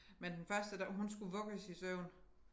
Men den første der hun skulle vugges i søvn